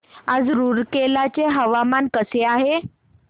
आज रूरकेला चे हवामान कसे आहे